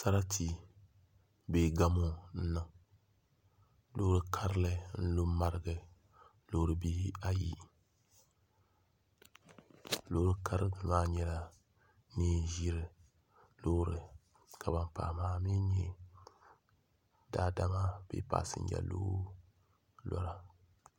Sarati nee gamo n niŋ loori karili n lu n marigi loori bihi ayi loori karili maa nyɛla ŋun ʒiri loori ka ban pahi maa mii nyɛ daadama bee pasinja loori